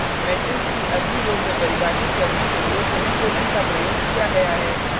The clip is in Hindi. ध्यान दें कि मेट्रिक्स की अगली रो को परिभाषित करने के लिए सेमीकोलन का प्रयोग किया गया है